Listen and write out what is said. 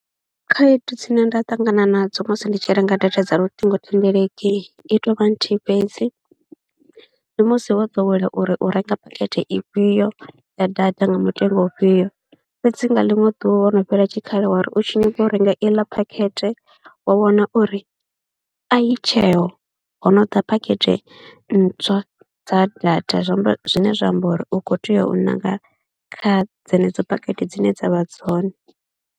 Khaedu dzine nda ṱangana nadzo musi ndi tshi renga data dza luṱhingothendeleki i tou vha nthihi fhedzi, ndi musi wo ḓowela uri u renga phakhethe ifhio ya data nga mutengo wa ufhio, fhedzi nga ḽiṅwe ḓuvha wo no fhela tshikhala wa ri u tshi nyaga u renga iḽa phakhethe wa wana uri a i tsheo ho no ḓa phakhethe ntswa dza data, zwi amba zwine zwa amba uri u khou tea u ṋanga kha dzenedzo phakhethe dzine dza vha dzone.